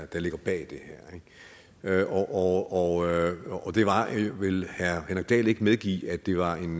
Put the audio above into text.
der ligger bag det her og vil herre henrik dahl ikke medgive at det var en